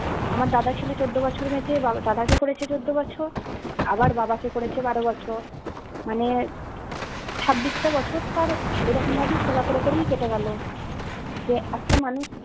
আমার দাদা ছিল চোদ্দ বছর বেঁচে দাদা কে করেছে চোদ্দ বছর আবার বাবা কে করেছে বারো বছর মানে ছাব্বিশটা বছর তার এরকমভাবেই সেবা করে করেই কেটে গেলো যে একটা মানুষ